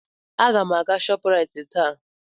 Aga m aga Shọpraịt taa.